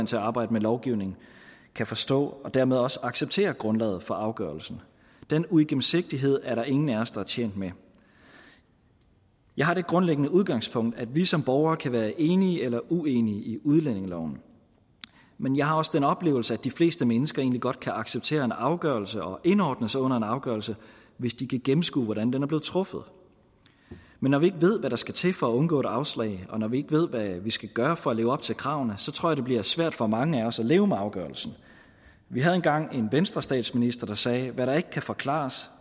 til at arbejde med lovgivning kan forstå og dermed også acceptere grundlaget for afgørelserne den uigennemsigtighed er der ingen af os der er tjent med jeg har det grundlæggende udgangspunkt at vi som borgere kan være enige eller uenige i i udlændingeloven men jeg har også den oplevelse at de fleste mennesker egentlig godt kan acceptere en afgørelse og indordne sig under en afgørelse hvis de kan gennemskue hvordan den er blevet truffet men når vi ikke ved hvad der skal til for at undgå et afslag og når vi ikke ved hvad vi skal gøre for at leve op til kravene så tror jeg at det bliver svært for mange af os at leve med afgørelsen vi havde engang en venstrestatsminister der sagde hvad der ikke kan forklares